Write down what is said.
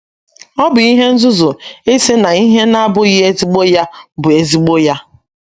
Ọ bụ ihe nzuzu ịsị na ihe na - abụghị ezigbo ya bụ ezigbo ya.